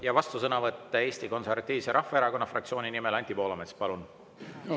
Ja vastusõnavõtt Eesti Konservatiivse Rahvaerakonna fraktsiooni nimel, Anti Poolamets, palun!